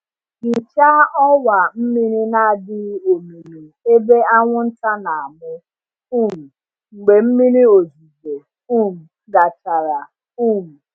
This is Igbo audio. Hichaa ọwa mmiri na-adịghị omimi ebe anwụnta na-amụ um mgbe mmiri ozuzo um gachara. um